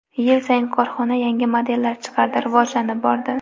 Yil sayin korxona yangi modellar chiqardi, rivojlanib bordi.